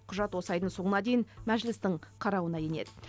құжат осы айдың соңына дейін мәжілістің қарауына енеді